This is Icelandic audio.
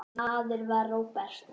Þessi maður var Róbert.